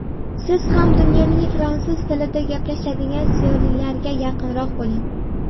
Siz ham dunyoning fransuz tilida gaplashadigan ziyolilariga yaqinroq bo‘ling.